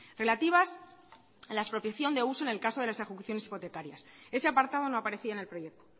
relativas a la expropiación de uso en el caso de las ejecuciones hipotecarias ese apartado no aparecía en el proyecto